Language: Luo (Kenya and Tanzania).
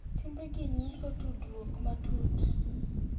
Timbe gi nyiso tudruok matut,